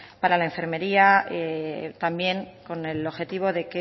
para la enfermería también con el objetivo de